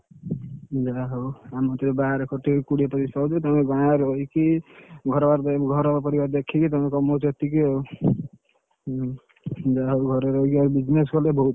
ଯାହାହଉ ମୁଁ ଟିକେ ବାହାରେ ଖଟି ଏକୁଟିଆ କୋଡିଏ ତିରିଶ ପାଉଛୁ, ତମେ ଗାଁରେ ରହିକି ଘର ବାର ଭାର ପରିବାର ଦେଖିକି ତମେ କମଉଛ ଏତିକି ଆଉ, ହୁଁ ଯାହା ହଉ ଘରେ ରହିକି business କଲେ ବହୁତ।